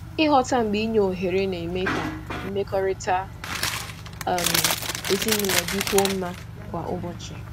Ịghọta mgbe inye ohere na-eme ka mmekọrịta um ezinụlọ dịkwuo mma kwa ụbọchị.